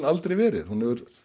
aldrei verið hún hefur